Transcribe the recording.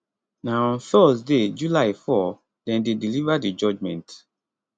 na on thursday july 4 dem dey deliver di judgement